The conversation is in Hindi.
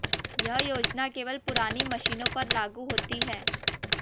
यह योजना केवल पुरानी मशीनों पर लागू होती है